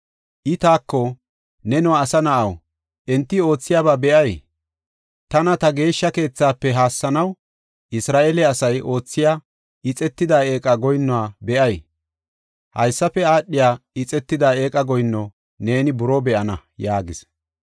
I taako, “Neno, asa na7aw, enti oothiyaba be7ay? Tana ta geeshsha keethafe haassanaw, Isra7eele asay oothiya ixetida eeqa goyinnuwa be7ay? Haysafe aadhiya ixetida eeqa goyinno neeni buroo be7ana” yaagis.